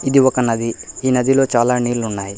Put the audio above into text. ఇది ఒక నది ఈ నదిలో చాలా నీళ్లు ఉన్నాయి.